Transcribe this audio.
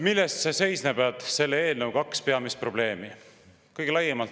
Milles seisnevad selle eelnõu kaks peamist probleemi?